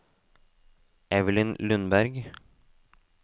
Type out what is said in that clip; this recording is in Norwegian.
Evelyn Lundberg